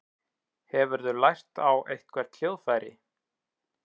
Hefurðu lært á eitthvert hljóðfæri?